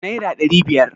naira ɗari biyar